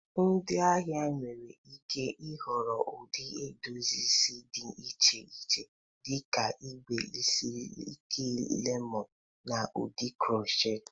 Ndị ahịa nwere ike ịhọrọ ụdị edozi isi dị iche iche dị ka igbe isi ike lemọned, na ụdị crochet.